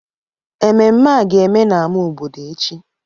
Ememme a ga-eme n'ámá obodo echi